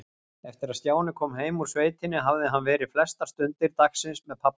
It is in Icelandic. Eftir að Stjáni kom heim úr sveitinni hafði hann verið flestar stundir dagsins með pabba.